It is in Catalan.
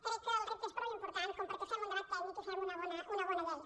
crec que el repte és prou important perquè fem un debat tècnic i fem una bona llei